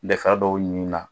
N bɛ fa dɔw ɲini n na.